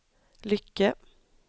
Lycke